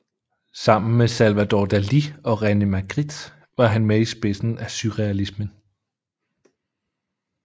Sammen med Salvador Dalí og René Magritte var han med i spidsen af surrealismen